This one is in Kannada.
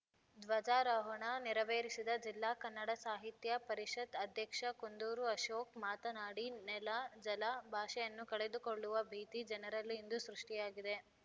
ಧ್ವಜಾರೋಹಣ ನೆರವೇರಿಸಿದ ಜಿಲ್ಲಾ ಕನ್ನಡ ಸಾಹಿತ್ಯ ಪರಿಷತ್‌ ಅಧ್ಯಕ್ಷ ಕುಂದೂರು ಅಶೋಕ್‌ ಮಾತನಾಡಿ ನೆಲ ಜಲ ಭಾಷೆಯನ್ನು ಕಳೆದುಕೊಳ್ಳುವ ಭೀತಿ ಜನರಲ್ಲಿ ಇಂದು ಸೃಷ್ಟಿಯಾಗಿದೆ